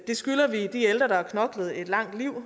det skylder vi de ældre der har knoklet et langt liv og